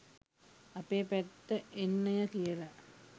අපේ පැත්තෙ එන්නය කියල.